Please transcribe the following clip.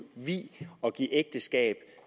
vie og give ægteskab